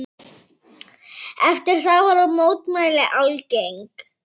Eftir það voru mótmæli algeng.